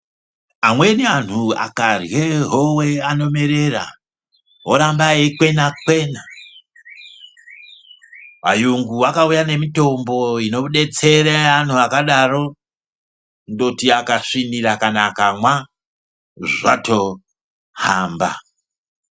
Amweni antu akarye howe anomerera, oramba eikwena- kwena. Vayungu vakauya nemitombo inodetsere anhu akadaro, kundoti ajasvinira kana akamwa, zvatohamba.